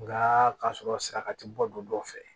Nga k'a sɔrɔ saraka ti bɔ du dɔw fɛ